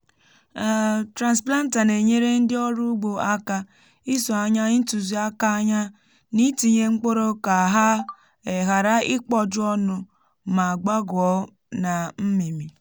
um transplanter na-enyere ndị ọrụ ugbo aka iso anya ntuziaka anya n’itinye mkpụrụ ka ha um ghara ikpọju ọnụ ma gbaguo na mmimmi um